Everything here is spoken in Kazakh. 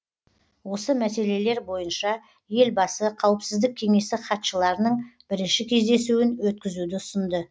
осы мәселелер бойынша елбасы қауіпсіздік кеңесі хатшыларының бірінші кездесуін өткізуді ұсынды